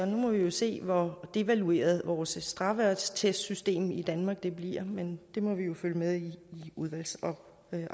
se hvor devalueret vores straffeattestsystem i danmark bliver men det må vi følge med i i udvalgsarbejdet